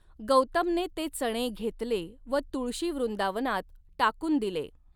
गौतमने ते चणे घेतले व तुळशी वृंदावनात टाकुन दिले.